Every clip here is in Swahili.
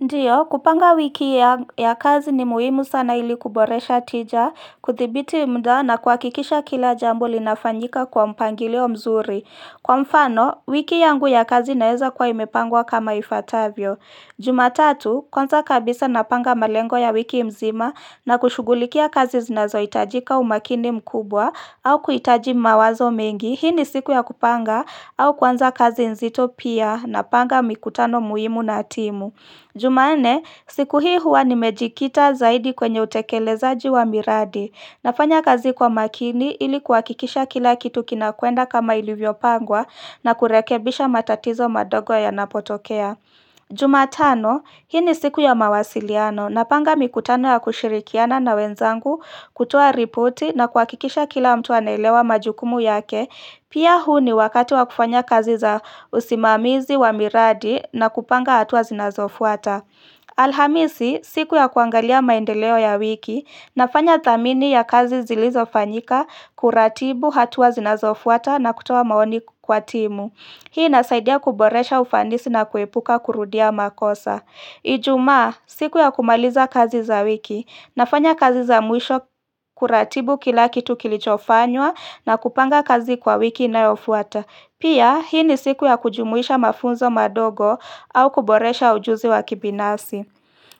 Ndiyo, kupanga wiki ya kazi ni muhimu sana ili kuboresha tija, kudhibiti muda na kuhakikisha kila jambo linafanyika kwa mpangilio mzuri. Kwa mfano, wiki yangu ya kazi naeza kuwa imepangwa kama ifuatavyo. Jumatatu, kwanza kabisa napanga malengo ya wiki mzima na kushugulikia kazi zinazo hitajika umakini mkubwa au kuhitaji mawazo mengi. Hii ni siku ya kupanga au kuanza kazi nzito pia napanga mikutano muhimu na timu. Jumanne, siku hii huwa nimejikita zaidi kwenye utekelezaji wa miradi. Nafanya kazi kwa makini ilikuhakikisha kila kitu kinakwenda kama ilivyopangwa na kurekebisha matatizo madogo yanapotokea. Jumatano, hii ni siku ya mawasiliano, napanga mikutano ya kushirikiana na wenzangu kutoa ripoti nakuhakikisha kila mtu anaelewa majukumu yake Pia huu ni wakati wa kufanya kazi za usimamizi wa miradi na kupanga hatua zinazofuata Alhamisi, siku ya kuangalia maendeleo ya wiki, nafanya dhamini ya kazi zilizofanyika kuratibu hatua zinazofuata na kutoa maoni kwa timu Hii inasaidia kuboresha ufanisi na kuepuka kurudia makosa. Ijumaa, siku ya kumaliza kazi za wiki, nafanya kazi za mwisho kuratibu kila kitu kilichofanywa na kupanga kazi kwa wiki inayofuata. Pia, hii ni siku ya kujumuisha mafunzo madogo au kuboresha ujuzi wa kibinafsi.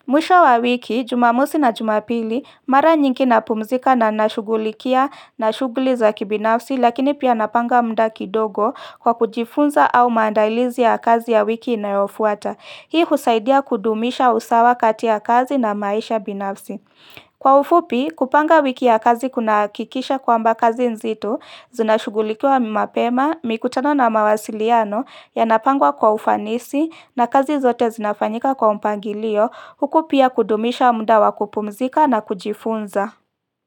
Mwisho wa wiki, jumamosi na jumapili mara nyingi napumzika na nashugulikia na shuguli za kibinafsi lakini pia napanga muda kidogo kwa kujifunza au maandailizi ya kazi ya wiki inayofuata. Hii husaidia kudumisha usawa kati ya kazi na maisha binafsi. Kwa ufupi, kupanga wiki ya kazi kunahakikisha kwamba kazi nzito, zinashugulikiwa mapema, mikutano na mawasiliano, yanapangwa kwa ufanisi na kazi zote zinafanyika kwa mpangilio, huku pia kudumisha muda wa kupumzika na kujifunza.